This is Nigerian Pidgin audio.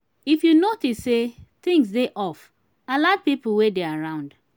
if you notice sey things dey off alert pipo wey dey around